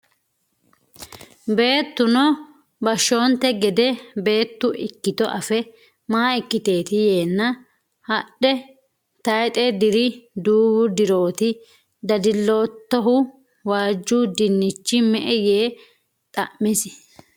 Beettuno bashshoonte gede beettu ikkito afe, “Ma ikkiteeti yeenna, “Hadhe, tayxe diri duuwu dirooti, dadilloottohu?” waaju dinchi me'e yee xa’misi?